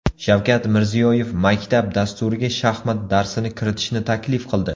Shavkat Mirziyoyev maktab dasturiga shaxmat darsini kiritishni taklif qildi.